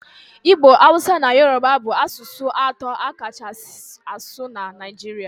Igbo, Hausa na Yoruba bụ asụsụ atọ a kachasị asụ na Nigeria